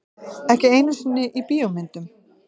Ekki einu sinni í bíómyndum.